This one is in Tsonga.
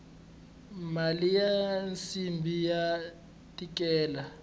mali ya nsimbhi ya tikela